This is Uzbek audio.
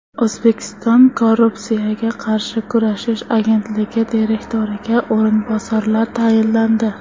O‘zbekiston Korrupsiyaga qarshi kurashish agentligi direktoriga o‘rinbosarlar tayinlandi.